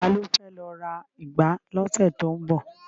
Ta ló fẹ́ lọ ra ìgbá lọ́sẹ̀ tó ń bọ̀?